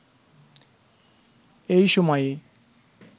এই সময়ে